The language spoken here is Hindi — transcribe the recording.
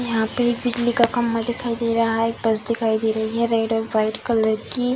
यहाँ पे एक बिजली का खम्बा दिखाई दे रहा है एक बस दिखाई दे रही है रेड और व्हाइट कलर की।